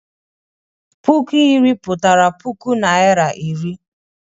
Puku iri pụtara puku Naịra iri.